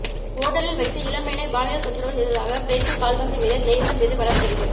ஓட்டலில் வைத்து இளம்பெண்ணை பாலியல் தொந்தரவு செய்தததாக பிரேசில் கால்பந்து வீரர் நெய்மர் மீது வழக்குப்பதிவு